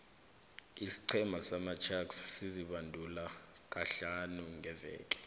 isiqhema samasharks sizibandula kahlani ngeveke